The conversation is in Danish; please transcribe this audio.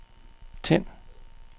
tænd